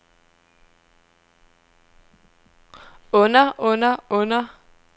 onder onder onder